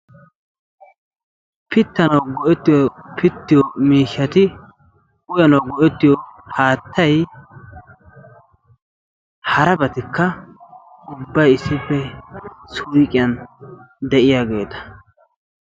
Pittanawu go'ettiyo pittiyo miishshati uttanawu go'ettiyo haattayi harabatikka ubbayi issippe suyqiyan de'iyageeta.